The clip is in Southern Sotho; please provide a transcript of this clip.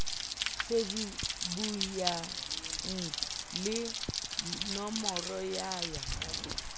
shebuwang le nomoro ya ya